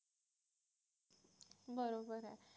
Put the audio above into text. बरोबर आहे